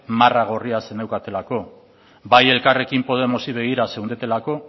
marra gorria zeneukatelako bai elkarrekin podemosi begira zeundetelako